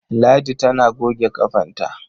Ladi tana goge ƙafanta.